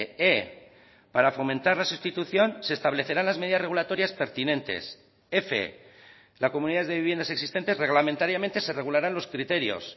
e para fomentar la sustitución se establecerán las medidas regulatorias pertinentes f las comunidades de viviendas existentes reglamentariamente se regularán los criterios